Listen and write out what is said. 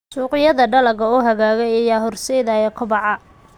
Suuqyada dalagga oo hagaagay ayaa horseedaya kobaca.